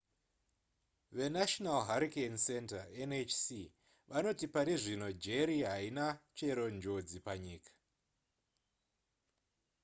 venational hurricane center nhc vanoti pari zvino jerry haina chero njodzi panyika